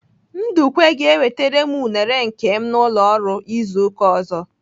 Ndukwe ga-ewetara m unere nke m n'ụlọ ọrụ izu ụka ọzọ.